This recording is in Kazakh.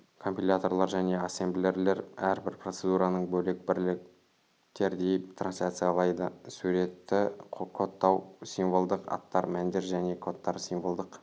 компиляторлар және ассемблерлер әрбір процедураны бөлек бірліктердей трансляциялайды суреті кодтау символдық аттар мәндер және кодтар символдық